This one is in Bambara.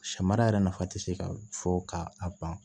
Samara yɛrɛ nafa ti se ka fɔ ka a ban